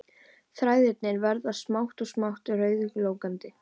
Þræðirnir verða smátt og smátt rauðglóandi